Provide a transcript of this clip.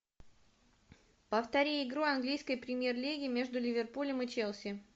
повтори игру английской премьер лиги между ливерпулем и челси